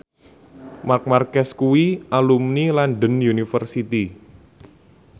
Marc Marquez kuwi alumni London University